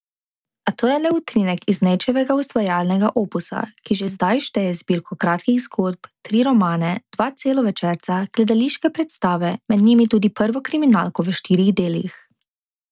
A to je le utrinek iz Nejčevega ustvarjalnega opusa, ki že zdaj šteje zbirko kratkih zgodb, tri romane, dva celovečerca, gledališke predstave, med njimi tudi prvo kriminalko v štirih delih.